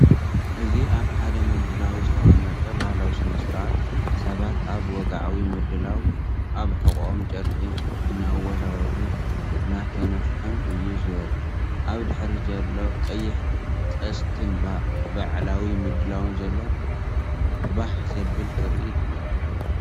እዚ ኣብ ሓደ ምድላው ዝተቐመጠ ባህላዊ ስነ-ስርዓት፡ ሰባት ኣብ ወግዓዊ ምድላው ኣብ ሕቖኦም ጨርቂ እናወዛወዙን እናተነፍሑን እዩ ዘርኢ። ኣብ ድሕሪት ቀይሕ ቅስትን በዓላዊ ምድላውን ዘለዎ ባህ ዘብል ትርኢት እዩ።